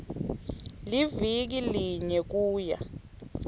liviki linye kuya